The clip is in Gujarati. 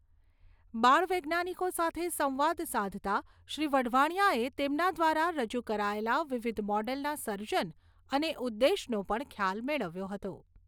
બાળ વૈજ્ઞાનિકો સાથે સંવાદ સાધતા શ્રી વઢવાણિયાએ તેમના દ્વારા રજુ કરાયેલા વિવિધ મોડલના સર્જન અને ઉદ્દેશનો પણ ખ્યાલ મેળવ્યો હતો.